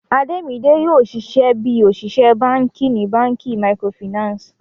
Ademide yoo ṣiṣẹ bi oṣiṣẹ banki ni banki micro Finance.